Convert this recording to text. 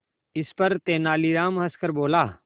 इस पर तेनालीराम हंसकर बोला